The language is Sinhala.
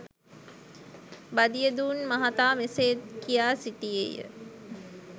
බදියුදීන් මහතා මෙසේද කියා සිටියේය